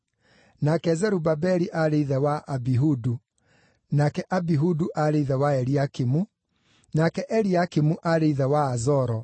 nake Zerubabeli aarĩ ithe wa Abihudu, nake Abihudu aarĩ ithe wa Eliakimu, nake Eliakimu aarĩ ithe wa Azoro,